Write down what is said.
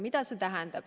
Mida see tähendab?